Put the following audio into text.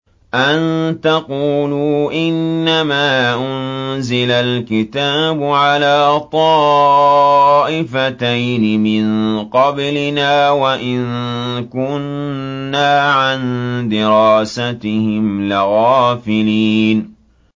أَن تَقُولُوا إِنَّمَا أُنزِلَ الْكِتَابُ عَلَىٰ طَائِفَتَيْنِ مِن قَبْلِنَا وَإِن كُنَّا عَن دِرَاسَتِهِمْ لَغَافِلِينَ